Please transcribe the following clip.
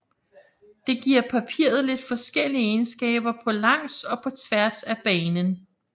Det giver papiret lidt forskellige egenskaber på langs og på tværs af banen